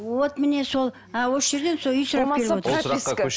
вот міне сол ы осы жерден сол үй сұрап келіп отырсыз